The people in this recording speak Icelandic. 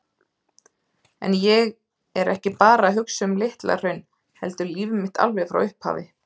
En ég er ekki bara að hugsa um Litla-Hraun heldur líf mitt alveg frá upphafi.